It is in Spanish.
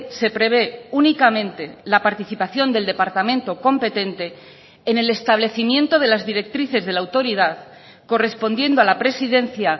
se prevé únicamente la participación del departamento competente en el establecimiento de las directrices de la autoridad correspondiendo a la presidencia